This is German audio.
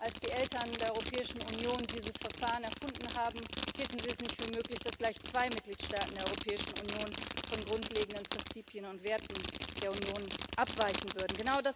Als die Eltern der Europäischen Union dieses Verfahren erfunden haben, hielten sie es nicht für möglich, dass gleich zwei Mitgliedstaaten der Europäischen Union von grundlegenden Prinzipien und Werten der Union abweichen würden.